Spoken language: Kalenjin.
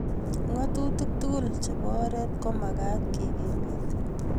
ngatutik tugul chebo oret ko magat kekimit